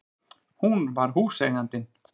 Hún var húseigandinn!